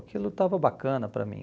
Aquilo estava bacana para mim.